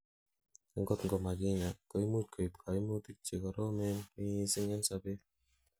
angot ko makinyaa, koimuch koib koimutik chekoromen missing en sobet